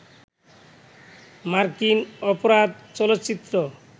মার্কিন অপরাধ চলচ্চিত্র